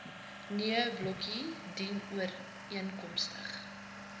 nee blokkie dienooreenkomstig